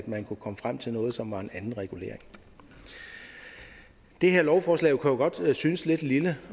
man kunne komme frem til noget som var en anden regulering det her lovforslag kan jo godt synes lidt lille